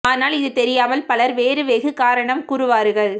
ஆனால் இது தெரியாமல் பலர் வேறு வெகு காரணம் கூறுவார்கள்